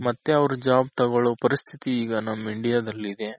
ಮತ್ತೆ ಅವ್ರು job ತಗೊಳೋ ಪರಿಸ್ಥಿತಿ ಈಗ ನಮ್ India ದಲ್ಲಿದೆ.